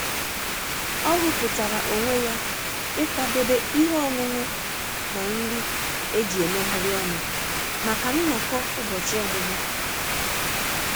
Ọ hupụtara onwe ya ịkwadebe ihe ọṅụṅụ na nri eji-emeghari ọnụ maka nnọkọ ụbọchị ọmụmụ.